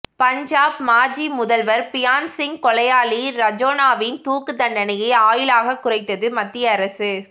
பஞ்சாப் மாஜி முதல்வர் பியாந்த்சிங் கொலையாளி ரஜோனாவின் தூக்கு தண்டனையை ஆயுளாக குறைத்தது மத்திய அரசு